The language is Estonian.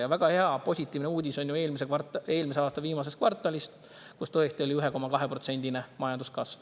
Ja väga hea, positiivne uudis on ju eelmise aasta viimasest kvartalist, kus tõesti oli 1,2%-line majanduskasv.